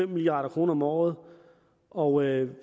milliard kroner om året og